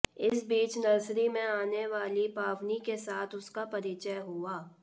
इस बीच नर्सरी में आने वाली पावनी के साथ उसका परिचय हुआ